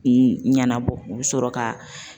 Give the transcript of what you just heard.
ɲɛnabɔ u bI sɔrɔ ka.